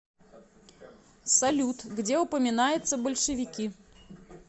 салют где упоминается большевики